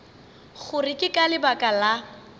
gore ke ka lebaka la